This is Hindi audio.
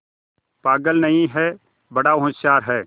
पागल नहीं हैं बड़ा होशियार है